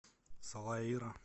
салаира